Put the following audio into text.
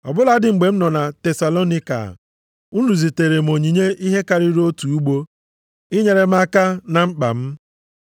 Ọ bụladị mgbe m nọ na Tesalonaịka, unu ziteere m onyinye ihe karịrị otu ugbo, inyere m aka na mkpa m.